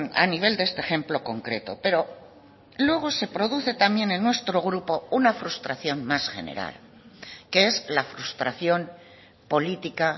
a nivel de este ejemplo concreto pero luego se produce también en nuestro grupo una frustración más general que es la frustración política